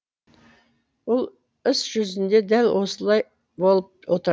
бұл іс жүзінде дәл осылай болып отыр